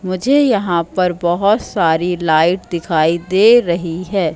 मुझे यहां पर बहोत सारी लाइट दिखाई दे रही है।